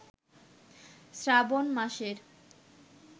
শ্রাবণ মাসের